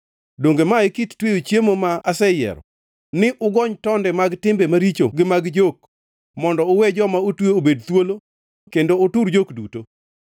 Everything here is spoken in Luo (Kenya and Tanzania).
“Donge ma e kit tweyo chiemo ma aseyiero: ni ugony tonde mag timbe maricho gi mag jok, mondo uwe joma otwe obed thuolo kendo utur jok duto?